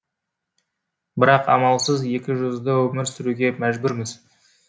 бірақ амалсыз екізжүзді өмір сүруге мәжбүрміз